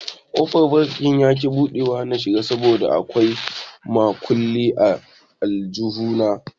Kofar banki yaki buɗuwa na shiga saboda a kwai makulli a aljihu na.